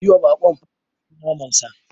Yiwa baƙon farfesun naman sa.